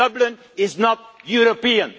Dublin is not European.